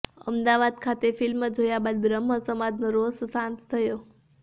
અમદાવાદ ખાતે ફિલ્મ જોયા બાદ બ્રહ્મ સમાજનો રોષ શાંત થયો